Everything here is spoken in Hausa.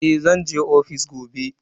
Eh, zan je ofis gobe.